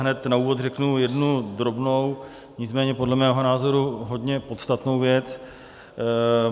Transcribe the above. Hned na úvod řeknu jednu drobnou, nicméně podle mého názoru hodně podstatnou věc.